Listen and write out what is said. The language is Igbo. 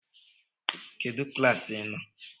Kedụ klaasị ị nọ?